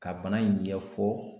Ka bana in ɲɛfɔ